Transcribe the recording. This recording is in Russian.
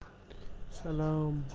салам